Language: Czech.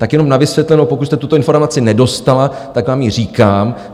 Tak jenom na vysvětlenou, pokud jste tuto informaci nedostala, tak vám ji říkám.